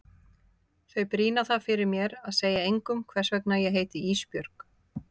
Þau brýna það fyrir mér að segja engum hvers vegna ég heiti Ísbjörg.